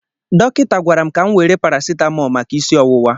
Dọkịta gwara m ka m were parasitamol maka isi ọwụwa.